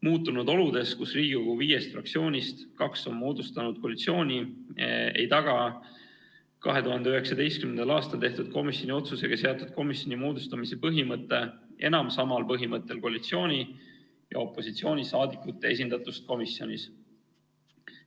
Muutunud oludes, kus Riigikogu viiest fraktsioonist kaks on moodustanud koalitsiooni, ei taga 2019. aastal tehtud komisjoni otsusega seatud komisjoni moodustamise põhimõte enam samal põhimõttel koalitsiooni- ja opositsiooniliikmete esindatust komisjonis.